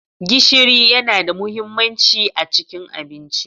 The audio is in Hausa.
Gishiri yana da mahimmanci a cikin abinci.